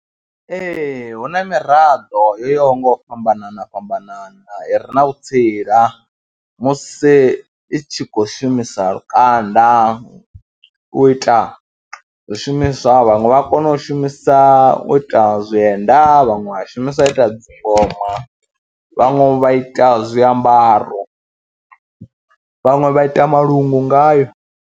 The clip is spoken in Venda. Ee, hu na miraḓo yo yaho nga u fhambanana fhambanana i re na vhutsila musi i tshi khou shumisa lukanda u ita zwishumiswa, vhaṅwe vha kona u shumisa u ita zwienda, vhaṅwe vha shumisa ita dzingoma, vhaṅwe vha ita zwiambaro, vhaṅwe vha ita malungu ngayo.